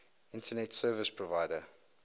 internet service provider